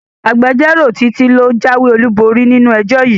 Agbẹjọ́rò Títí ló jáwéborí nínú ẹjọ́ yìí